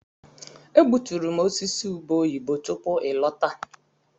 Egbuturu m osisi ube oyibo tupu ị lọta.